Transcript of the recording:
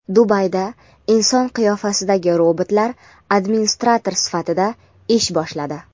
Dubayda inson qiyofasidagi robotlar administrator sifatida ish boshladi.